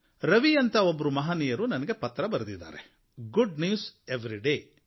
ರವಿ ಅಂತ ಒಬ್ಬ ಮಹನೀಯರು ನನಗೆ ಪತ್ರ ಬರೆದಿದ್ದಾರೆ ಗುಡ್ ನ್ಯೂಸ್ ಎವ್ರಿ ಡೆ